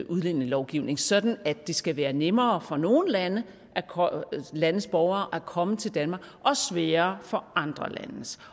udlændingelovgivning sådan at det skal være nemmere for nogle landes landes borgere at komme til danmark og sværere for andre landes